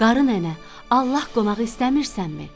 Qarı nənə, Allah qonağı istəmirsənmi?